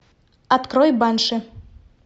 открой банши